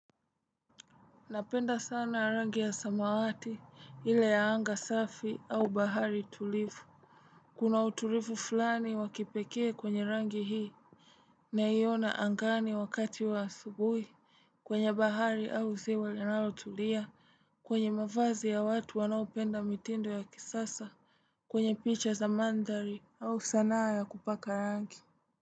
Napenda sana rangi ya samawati ile ya anga safi au bahari tulivu Kuna utulivu fulani wa kipekee kwenye rangi hii naiona angani wakati wa subuhi kwenye bahari au ziwa linalotulia kwenye mavazi ya watu wanaopenda mitindo ya kisasa kwenye picha za mandari au sanaa ya kupaka rangi.